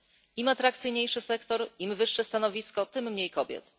Im atrakcyjniejszy sektor, im wyższe stanowisko tym mniej kobiet.